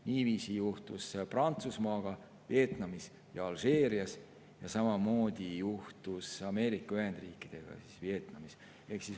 Niiviisi juhtus Prantsusmaaga Vietnamis ja Alžeerias ning samamoodi juhtus Ameerika Ühendriikidega Vietnamis.